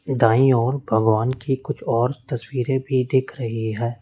दाईं ओर भगवान की कुछ और तस्वीरें भी दिख रही है।